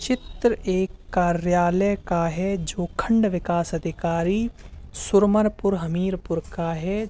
चित्र एक कार्यालय का है जो खंड विकास अधिकारी सुरमरपुर हमीरपुर का है।